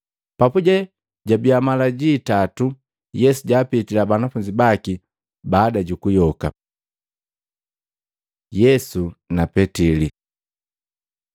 Papuje jabiya mala ji itatu Yesu jaapitila banafunzi baki baada juku yoka. Yesu na Petili